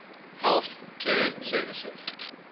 health care services